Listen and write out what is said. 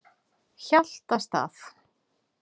Hjaltastað